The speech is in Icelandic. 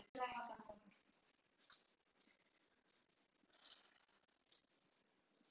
Fólk með undirliggjandi sjúkdóma, eldra fólk og ófrískar konur skal einnig meðhöndla á spítala.